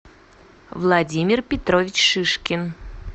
владимир петрович шишкин